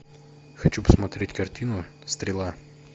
хочу посмотреть картину стрела